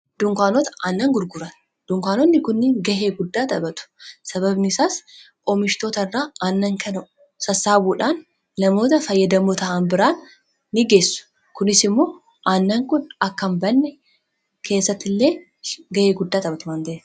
Dunkaanota aannan gurguran dunkaanotni kuni gahee guddaa taphatu. Sababni isaas oomishtoota irraa aannan kana sassaabuudhaan namoota fayyadamoo ta'an biraan nigeessu. Kunis immoo aannan kun akka hinbanne keessatti illee ga'ee guddaa taphatu waanta'eefi.